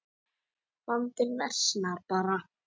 Vandinn versnar bara.